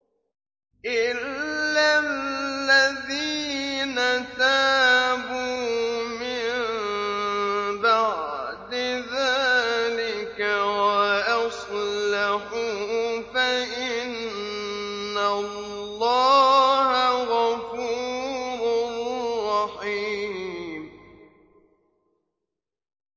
إِلَّا الَّذِينَ تَابُوا مِن بَعْدِ ذَٰلِكَ وَأَصْلَحُوا فَإِنَّ اللَّهَ غَفُورٌ رَّحِيمٌ